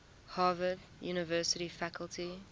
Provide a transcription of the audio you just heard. harvard university faculty